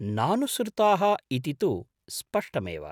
नानुसृताः इति तु स्पष्टमेव।